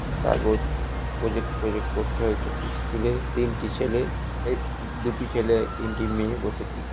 কাগজ প্রজেক্ট ট্রজেক্ট করছে হয়তো। স্কুলে তিনটি ছেলে এ দুটি ছেলে তিনটি মেয়ে বসে কি কর--